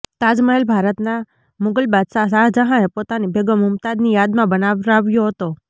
તાજમહેલ ભારતના મુગલ બાદશાહ શાહજહાંએ પોતાની બેગમ મુમતાઝની યાદમાં બનાવરાવ્યો હતો